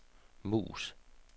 mus